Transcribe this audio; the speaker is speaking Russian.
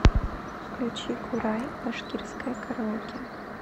включи курай башкирское караоке